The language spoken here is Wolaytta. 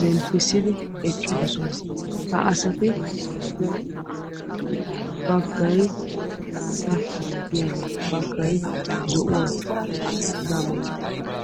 zemppissidi eqqidosona. Ha asati mayido maayoyi baggay maataa malatiyaagaa baggay zo"uwa hegaanne hegaa malatiyagaa.